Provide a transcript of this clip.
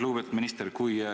Lugupeetud minister!